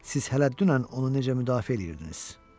Siz hələ dünən onu necə müdafiə eləyirdiniz?